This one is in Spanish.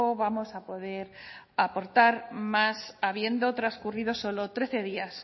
vamos a poder aportar más habiendo transcurrido solo trece días